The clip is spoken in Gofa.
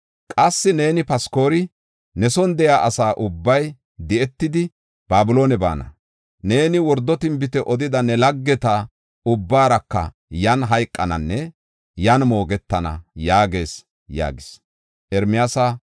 Qassi neeni Phaskori, ne son de7iya asa ubbay di7etidi, Babiloone baana. Neeni wordo tinbite odida ne laggeta ubbaaraka yan hayqananne yan moogetana’ yaagees” yaagis.